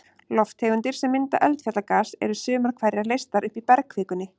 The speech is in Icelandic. Lofttegundir sem mynda eldfjallagas, eru sumar hverjar leystar upp í bergkvikunni.